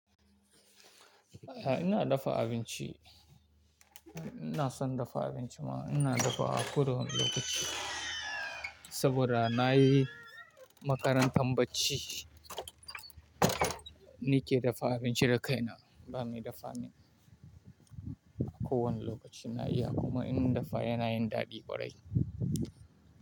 Ina dafa abinci. Ina son dafa abinci ma, ina dafawa ko da wane lokaci saboda na yi makarantar bacci, ni ke dafa abinci da kaina. Ba ni da family. A ko wanne lokaci na iya kuma in na dafa yanayin daɗi ƙwarai.